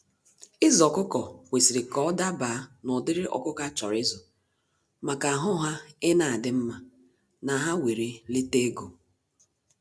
Ịzụ ọkụkọ kwesịrị ka ọ dabaa na ụdịrị ọkụkọ a chọrọ ịzụ maka ahụ ha ina adị mma na ha were lete ego.